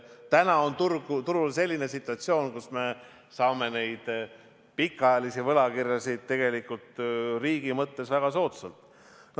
Täna on turul selline situatsioon, kus me saame pikaajalisi võlakirju riigi mõttes väga soodsalt.